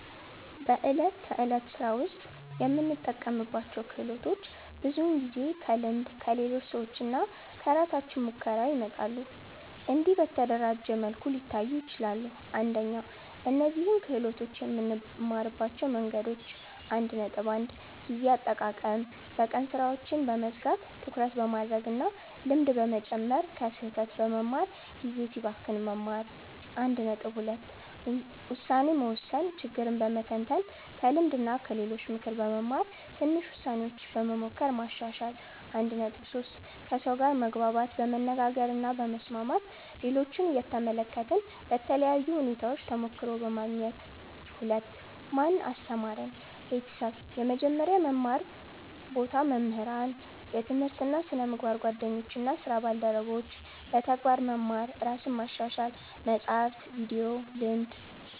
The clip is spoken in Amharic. በዕለት ተዕለት ሥራ ውስጥ የምንጠቀምባቸው ክህሎቶች ብዙውን ጊዜ ከልምድ፣ ከሌሎች ሰዎች እና ከራሳችን ሙከራ ይመጣሉ። እንዲህ በተደራጀ መልኩ ሊታዩ ይችላሉ፦ 1) እነዚህን ክህሎቶች የምንማርባቸው መንገዶች 1.1 ጊዜ አጠቃቀም በቀን ሥራዎችን በመዝጋት ትኩረት በማድረግ እና ልምድ በመጨመር ከስህተት በመማር (ጊዜ ሲባክን መማር) 1.2 ውሳኔ መወሰን ችግርን በመተንተን ከልምድ እና ከሌሎች ምክር በመማር ትንሽ ውሳኔዎች በመሞከር ማሻሻል 1.3 ከሰው ጋር መግባባት በመነጋገር እና በመስማት ሌሎችን እየተመለከትን በተለያዩ ሁኔታዎች ተሞክሮ በማግኘት 2) ማን አስተማረን? ቤተሰብ – የመጀመሪያ መማር ቦታ መምህራን – የትምህርት እና ስነ-ምግባር ጓደኞች እና ስራ ባልደረቦች – በተግባር መማር ራስን ማሻሻል – መጻሕፍት፣ ቪዲዮ፣ ልምድ